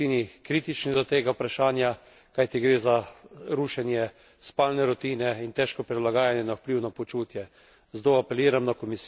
Naši državljani so po večini kritični do tega vprašanja, kajti gre za rušenje spalne rutine in težko prilagajanje na vpliv na počutje.